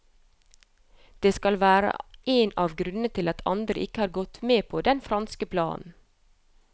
Det skal være en av grunnene til at andre land ikke har gått med på den franske planen.